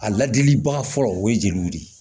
A ladilibaga fɔlɔ o ye jeliw de ye